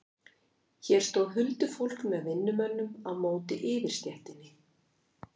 Hér stóð huldufólk með vinnumönnum á móti yfirstéttinni.